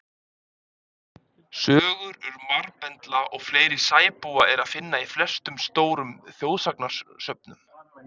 Sögur um marbendla og fleiri sæbúa er að finna í flestum stórum þjóðsagnasöfnum.